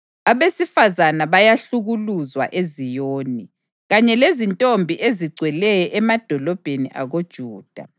Abesifazane bayahlukuluzwa eZiyoni kanye lezintombi ezigcweleyo emadolobheni akoJuda.